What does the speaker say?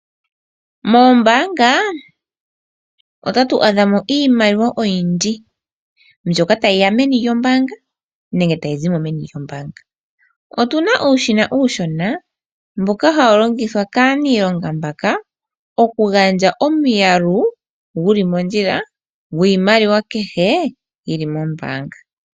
Moombaanga otatu adhamo iimaliwa oyindji, mbyoka tayiya meni lyombaanga nenge tayi zimo meni lyombaanga. Otuna uushina uushona mboka hawu longithwa kaaniilonga mbaka oku gandja omiyalu guli mondjila gwiimaliwa kehe yili mombaanga.